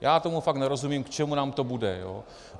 Já tomu fakt nerozumím, k čemu nám to bude.